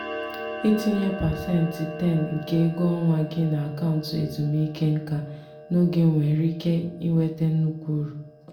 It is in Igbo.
ịtinye pasentị 10 nke ego ọnwa gị n'akaụntụ ezumike nká n'oge nwere ike iweta nnukwu uru.